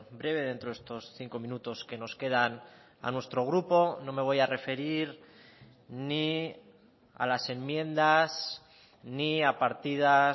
breve dentro de estos cinco minutos que nos quedan a nuestro grupo no me voy a referir ni a las enmiendas ni a partidas